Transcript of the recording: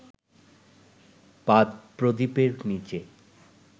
পাদপ্রদীপের নিচে